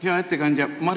Hea ettekandja!